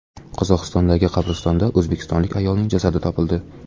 Qozog‘istondagi qabristonda o‘zbekistonlik ayolning jasadi topildi.